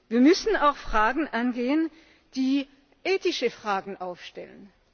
Wir müssen auch Fragen angehen, die ethische Fragen aufwerfen.